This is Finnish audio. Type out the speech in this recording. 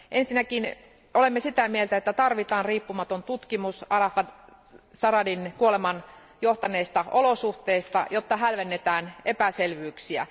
Ensinnäkin olemme sitä mieltä, että tarvitaan riippumaton tutkimus Arafat Jaradatin kuolemaan johtaneista olosuhteista, jotta hälvennetään epäselvyyksiä.